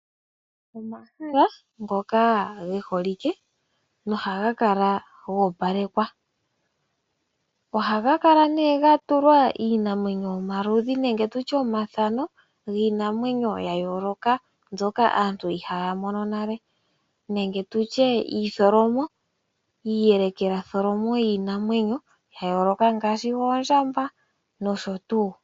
Omahala ngoka geholike nohaga kala nee goopalekwa. Ohaga kala nee gatulwa iinamwenyo yomaludhi gayooloka nenge tutye omathano, giinamwenyo yayooloka mbyoka aantu inaaya mona nale nenge tutye iitholomo, iiyelekela tholomo yayooloka ngaashi oondjamba nosho tuu.